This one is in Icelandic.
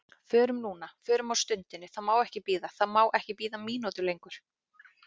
Förum núna, förum á stundinni, það má ekki bíða, það má ekki bíða mínútu lengur.